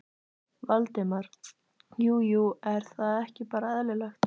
Valdimar: Jú jú, er það ekki bara eðlilegt?